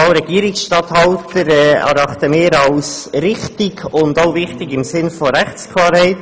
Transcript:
Wahl des Regierungsstatthalters erachten wir als richtig und auch wichtig im Sinne von Rechtsklarheit.